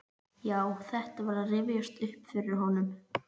Já, þetta var að rifjast upp fyrir honum.